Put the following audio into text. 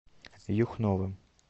юхновым